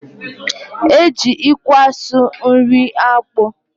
E ji ikwe asụ nri akpu